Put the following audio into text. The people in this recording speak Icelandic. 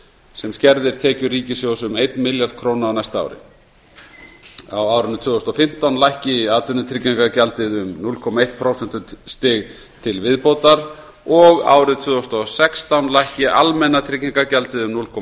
sem skerðir tekjur ríkissjóðs um eitt milljarð króna á næsta ári á árinu tvö þúsund og fimmtán lækki atvinnutryggingagjaldið um núll komma eitt prósentustig til viðbótar og árið tvö þúsund og sextán lækki almenna tryggingagjaldið um núll komma